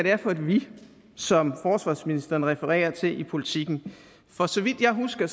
er for et vi som forsvarsministeren refererer til i politiken for så vidt jeg husker